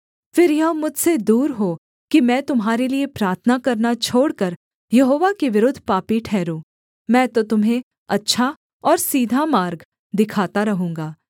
फिर यह मुझसे दूर हो कि मैं तुम्हारे लिये प्रार्थना करना छोड़कर यहोवा के विरुद्ध पापी ठहरूँ मैं तो तुम्हें अच्छा और सीधा मार्ग दिखाता रहूँगा